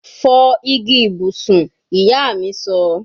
Fọ igi ibusun, iya mi sọ